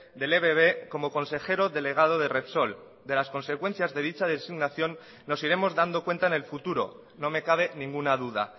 del ebb como consejero delegado de repsol de las consecuencias de dicha designación nos iremos dando cuenta en el futuro no me cabe ninguna duda